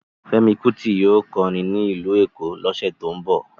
Fẹ́mi Kuti yóò kọrin ní ìlú Èkó lọ́sẹ̀ tó ń bọ̀